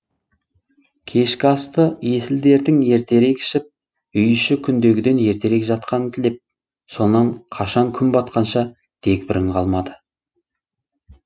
кешкі асты есіл дертің ертерек ішіп үй іші күндегіден ертерек жатқанын тілеп сонан қашан күн батқанша дегбірің қалмады